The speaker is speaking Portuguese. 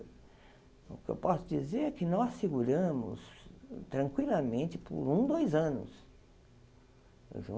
O que eu posso dizer é que nós seguramos tranquilamente por um, dois anos.